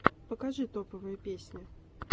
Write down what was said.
покажи топовые песни